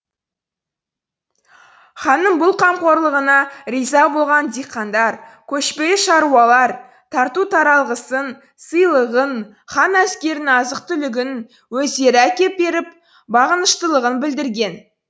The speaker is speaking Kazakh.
ханның бұл қамқорлығына риза болған диқандар көшпелі шаруалар тарту таралғысын сыйлығын хан әскерінің азық түлігін өздері әкеп беріп бағыныштылығын білдірген